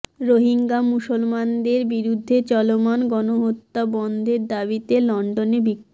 রোহিঙ্গা মুসলমানদের বিরুদ্ধে চলমান গণহত্যা বন্ধের দাবিতে লন্ডনে বিক্ষোভ